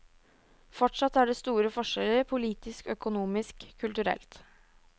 Fortsatt er det store forskjeller, politisk, økonomisk, kulturelt.